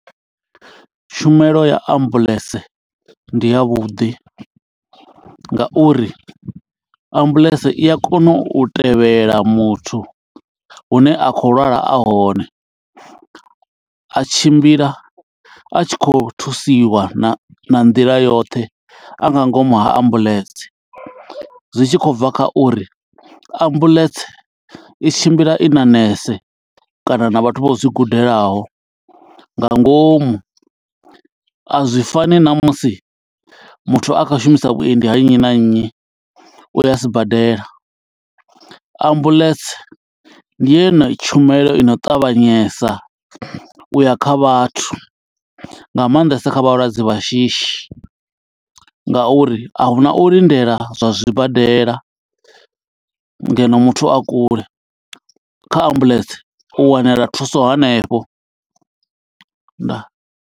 Tshumelo ya ambuḽentse ndi ya vhuḓi, nga uri ambuḽentse i a kona u tevhela muthu hune a khou lwala a hone. A tshimbila a tshi khou thusiwa na nḓila yoṱhe, a nga ngomu ha ambuḽentse. Zwi tshi khou bva kha uri ambuḽentse i tshimbila i na nese kana na vhathu vho zwi gudelaho nga ngomu. A zwi fani na musi muthu a kha shumisa vhuendi ha nnyi na nnyi, u ya sibadela. Ambuḽentse ndi yone tshumelo ino ṱavhanyesa u ya kha vhathu, nga maanḓesa kha vhalwadze vha shishi. Nga uri ahuna u lindela zwa zwibadela ngeno muthu a kule, kha ambuḽentse u wanela thuso hanefho. Ndaa.